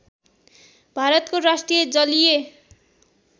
भारतको राष्ट्रिय जलीय